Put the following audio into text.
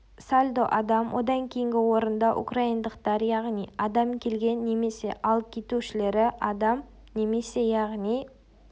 сальдо адам одан кейінгі орында украиндықтар яғни адам келген немесе ал кетушілері адам немесе яғни